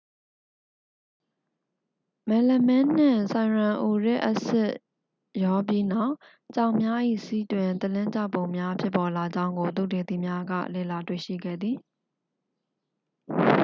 မယ်လမင်းနှင့် ဆိုင်ရန်အူရစ်အက်ဆစ် ရောပြီးနောက် ကြောင်များ၏ ဆီးတွင် သလင်းကျောက်ပုံများ ဖြစ်ပေါ်လာကြောင်းကို သုတေသီများက လေ့လာတွေ့ရှိခဲ့သည်